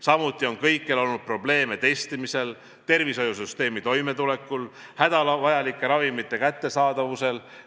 Samuti on kõikjal olnud probleeme testimise, tervishoiusüsteemi toimetuleku, hädavajalike ravimite kättesaadavusega.